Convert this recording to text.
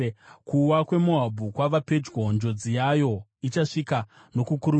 “Kuwa kweMoabhu kwava pedyo; njodzi yayo ichasvika nokukurumidza.